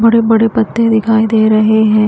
बड़े-बड़े पत्ते दिखाई दे रहे हैं।